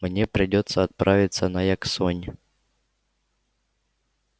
мне придётся отправиться на яксонь